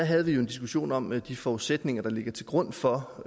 havde vi jo en diskussion om de forudsætninger der ligger til grund for